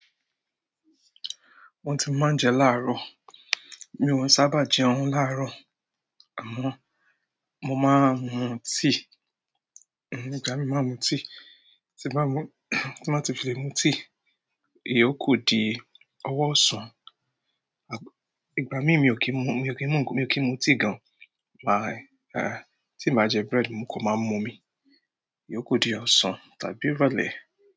Wọ́n ti máa ń je láàrọ̀. Mi ò ń sábà jẹun láàrọ̀, àmọ́ mo máa ń mu tíì. Ìgbà míràn mo máa ń mu tíì, tí mo bá mu, tí mo bá ti fi lè mu tíì, ìyókú di ọwọ́ ọ̀sán. Ìgbà míràn mi ò kí ń mu, mi ò kí ń mu, mi ò kí ń mu tíì gan. Tí mi ò báá jẹ bread, mo kò máa mu omi, ìyókù di ọ̀sán tàbí ìrọ̀lẹ́.